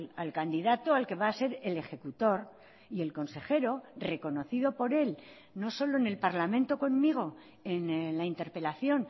al candidato al que va a ser el ejecutor y el consejero reconocido por él no solo en el parlamento conmigo en la interpelación